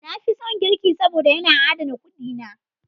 Na fi son girki saboda, yana adana kuɗi na.